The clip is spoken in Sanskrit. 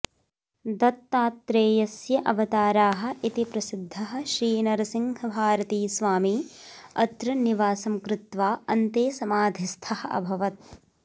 दत्तत्रेयस्यावताराः इति प्रसिद्धः श्रीनरसिंहभारतीस्वामी अत्र निवासं कृत्वा अन्ते समाधिस्थः अभवत्